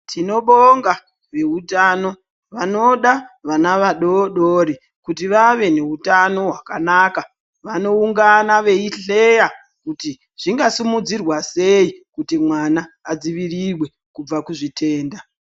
Tinobonga veutano vanoda vana vadodori kuti vave neutano hwakanaka vanoungana veihleya kuti zvingasimudzirwa sei kuti mwana adzivirirwe kubva kuzvitenda.